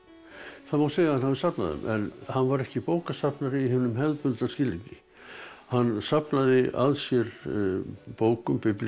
það má segja að hann hafi safnað þeim en hann var ekki bókasafnari í hinum hefðbundna skilningi hann safnaði að sér bókum biblíum